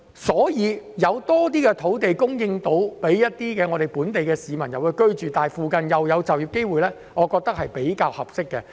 因此，如果能夠提供更多土地予本地市民居住，而附近又有就業機會，我認為是比較合適的。